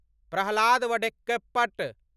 Prahlad Vadakkepat